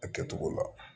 A kɛcogo la